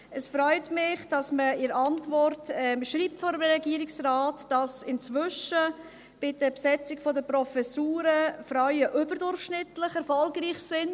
Es freut mich, dass man in der Antwort des Regierungsrates schreibt, dass inzwischen bei der Besetzung der Professuren die Frauen überdurchschnittlich erfolgreich sind.